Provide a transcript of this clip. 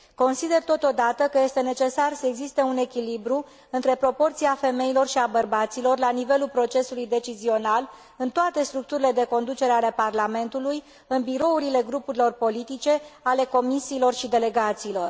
Consider, totodată, că este necesar să existe un echilibru între proporția femeilor și a bărbaților la nivelul procesului decizional, în toate structurile de conducere ale Parlamentului, în birourile grupurilor politice, ale comisiilor și ale delegațiilor.